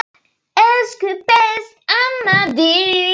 Elsku besta amma Dísa.